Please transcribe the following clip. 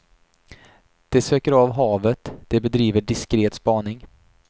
De söker av havet, de bedriver diskret spaning.